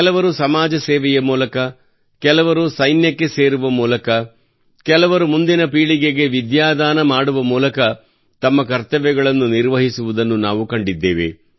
ಕೆಲವರು ಸಮಾಜ ಸೇವೆಯ ಮೂಲಕ ಕೆಲವರು ಸೈನ್ಯಕ್ಕೆ ಸೇರುವ ಮೂಲಕ ಕೆಲವರು ಮುಂದಿನ ಪೀಳಿಗೆಗೆ ವಿದ್ಯಾದಾನ ಮಾಡುವ ಮೂಲಕ ತಮ್ಮ ಕರ್ತವ್ಯಗಳನ್ನು ನಿರ್ವಹಿಸುವುದನ್ನು ನಾವು ಕಂಡಿದ್ದೇವೆ